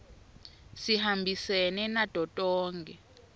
sihambisene nato tonkhe